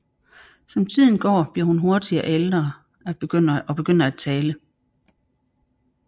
Som tiden går bliver hun hurtigt ældre og begynder at tale